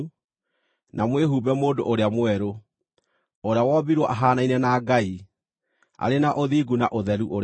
na mwĩhumbe mũndũ ũrĩa mwerũ, ũrĩa wombirwo ahaanaine na Ngai, arĩ na ũthingu na ũtheru ũrĩa wa ma.